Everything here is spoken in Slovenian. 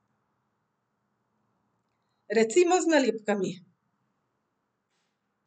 Recimo z nalepkami.